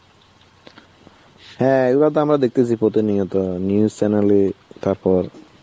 হ্যাঁ এইগুলা তো আমরা দেখতেছি প্রতিনিয়ত News Channel এ তারপর